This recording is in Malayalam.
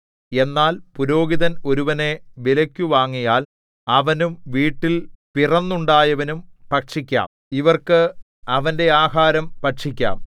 എന്നാൽ പുരോഹിതൻ ഒരുവനെ വിലയ്ക്കു വാങ്ങിയാൽ അവനും വീട്ടിൽ പിറന്നുണ്ടായവനും ഭക്ഷിക്കാം ഇവർക്ക് അവന്റെ ആഹാരം ഭക്ഷിക്കാം